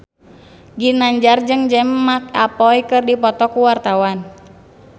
Ginanjar jeung James McAvoy keur dipoto ku wartawan